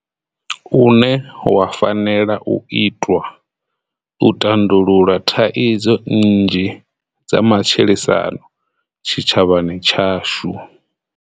une wa fanela u itwa u tandulula thaidzo nnzhi dza matshilisano tshitshavhani tshashu.